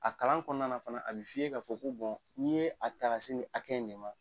A kalan kɔnɔna fana a bɛ fiiye' fɔ ko n'i ye a ta ka se ni hakɛ nin ma